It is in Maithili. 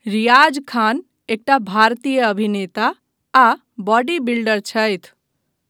रियाज खान एकटा भारतीय अभिनेता आ बॉडी बिल्डर छथि।